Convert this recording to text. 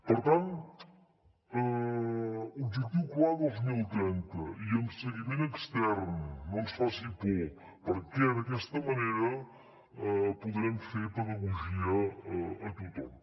per tant objectiu clar dos mil trenta i amb seguiment extern no ens faci por perquè d’aquesta manera podrem fer pedagogia a tothom